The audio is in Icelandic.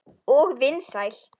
Og vinsæl.